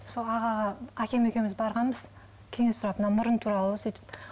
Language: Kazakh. сол ағаға әкем екеуміз барғанбыз кеңес сұрап мына мұрын туралы сөйтіп